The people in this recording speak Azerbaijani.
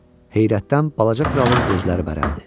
Heyrətdən balaca kralın gözləri bərəldi.